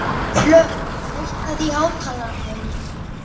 Hlökk, hækkaðu í hátalaranum.